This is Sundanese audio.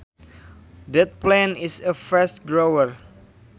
That plant is a fast grower